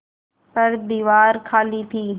पर दीवार खाली थी